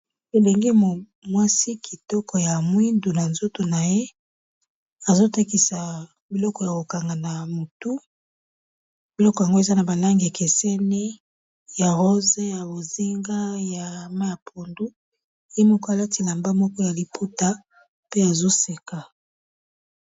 Elenge mwasi kitoko ya mwindu na nzoto na ye azo tekisa biloko ya ko kanga na motu biloko yango eza na ba langi ekeseni ya rose, ya bozinga, ya mayi ya pondu ye moko alati elamba moko ya liputa pe azo seka.